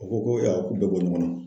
U ko ko k'u bɛ bɔ ɲɔgɔn na.